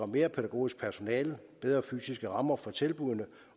mere pædagogisk personale bedre fysiske rammer for tilbuddene